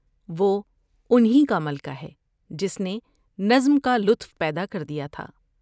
وہ ان ہی کا ملکہ ہے جس نے نظم کا لطف پیدا کر دیا تھا ۔